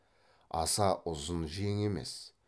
аса ұзын жең емес